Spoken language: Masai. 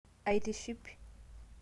aitiship